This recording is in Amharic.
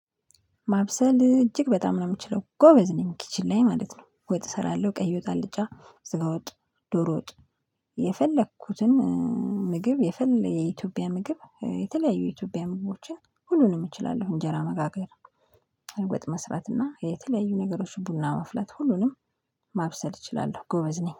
ማብሰል እጅግ በጣም ነው የምችለው ጎበዝ ነኝ ኪችን ላይ ማለት ነው። ወጥ እሰራለሁ ቀይ ወጥ አልጫ ስጋ ወጥ ዶሮ ወጥ። የፈለኩትን ምግብ የኢትዮጵያ ምግብ የተለያዩ የኢትዮጵያ ምግቦችን ሁሉንም እችላለሁ። እንጀራ መጋገር ወጥ መስራት እና የተለያዩ ነገሮች ቡና መፍላት ሁሉንም ማብሰል እችላለሁ። ጎበዝ ነኝ